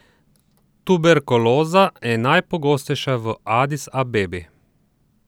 Tuberkuloza je najpogostejša v Adis Abebi.